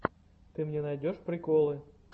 ты мне найдешь приколы